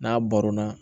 N'a barona